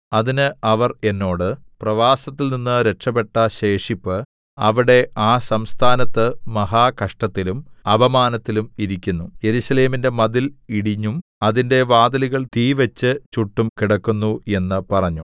അതിന് അവർ എന്നോട് പ്രവാസത്തിൽനിന്ന് രക്ഷപെട്ട ശേഷിപ്പ് അവിടെ ആ സംസ്ഥാനത്ത് മഹാകഷ്ടത്തിലും അപമാനത്തിലും ഇരിക്കുന്നു യെരൂശലേമിന്റെ മതിൽ ഇടിഞ്ഞും അതിന്റെ വാതിലുകൾ തീവെച്ച് ചുട്ടും കിടക്കുന്നു എന്ന് പറഞ്ഞു